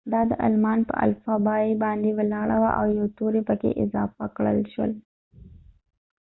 دا د آلمان په الفبای باندي ولاړه وه او یو توری پکې اضافه کړل شو